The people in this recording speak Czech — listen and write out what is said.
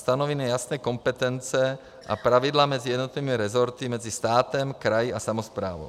Stanovíme jasné kompetence a pravidla mezi jednotlivými rezorty, mezi státem, kraji a samosprávou.